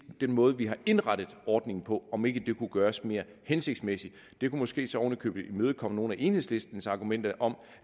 måde vi har indrettet ordningen på om ikke det kunne gøres mere hensigtsmæssigt det kunne måske så ovenikøbet imødekomme nogle af enhedslistens argumenter om